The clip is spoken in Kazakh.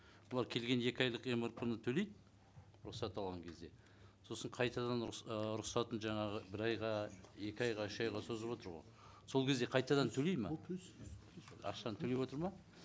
бұлар келген екі айлық мрп ны төлейді рұқсат алған кезде сосын қайтадан ы рұқсатын жаңағы бір айға екі айға үш айға созып отыр ғой сол кезде қайтадан төлейді ме ақшаны төлеп отыр ма